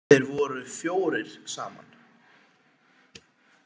Þeir voru fjórir saman.